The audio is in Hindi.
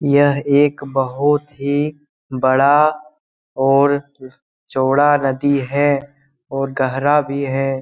यह एक बहुत ही बड़ा और चौड़ा नदी है और गहरा भी है ।